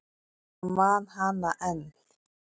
Ég man hana enn.